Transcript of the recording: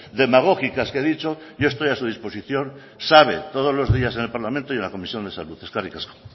demagógicas que he dicho yo estoy a su disposición sabe todo los días en el parlamento y en la comisión de salud eskerrik asko